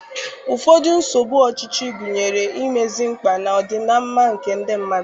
Ụfọdụ nsogbu ọchịchị gụnyere imezi mkpa na ọdịmma nke ndị mmadụ.